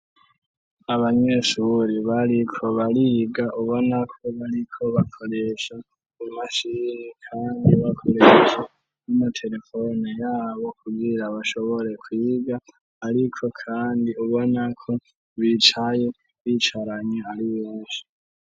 Abanyeshubure bariko bariga ubonako bariko bakoresha umashini kandi bakoresha n'amaterefone yabo kugira bashobore kwiga ariko kandi ubonako bicaye bicaranye ari benshi.